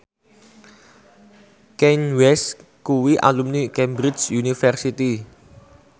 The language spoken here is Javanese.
Kanye West kuwi alumni Cambridge University